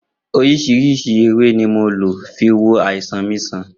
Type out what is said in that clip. Oríṣìíríṣìí ewé ni mo lò fi wo àìsàn mi sàn